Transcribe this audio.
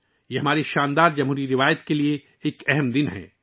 یہ ہماری شاندار جمہوری روایات کے لیے ایک اہم دن ہے